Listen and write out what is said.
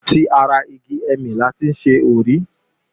Àti ara igi ẹ̀mì la ti ń ṣe òrí.